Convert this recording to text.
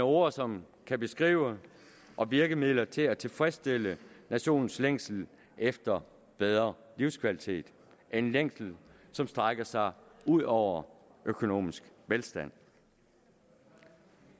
ord som kan beskrive og virkemidler til at tilfredsstille nationens længsel efter bedre livskvalitet en længsel som strækker sig ud over økonomisk velstand